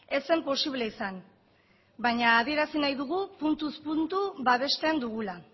ez zen posible izan baina adierazi nahi dugu puntuz puntu babesten dugula